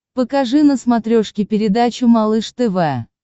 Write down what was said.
покажи на смотрешке передачу малыш тв